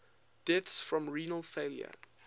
deaths from renal failure